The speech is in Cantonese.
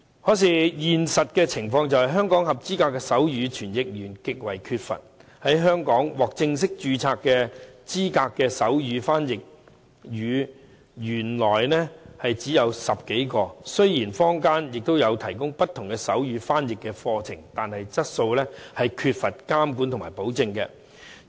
可是，現實情況是，香港合資格的手語傳譯員極為缺乏。香港獲正式註冊資格的手語翻譯員原來只有10多位，雖然坊間也有提供不同的手語翻譯課程，但質素缺乏監管和保證。